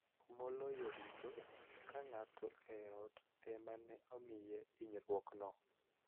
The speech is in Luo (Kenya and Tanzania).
Maloyo duto, ka ng�ato e ot ema ne omiye hinyruokno,